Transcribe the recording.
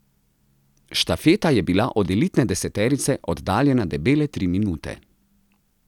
Štafeta je bila od elitne deseterice oddaljena debele tri minute.